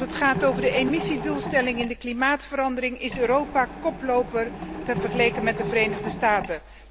Als het gaat over de emissiedoelstellingen in de klimaatverandering is Europa koploper vergeleken met de Verenigde Staten.